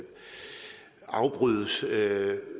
afbrydes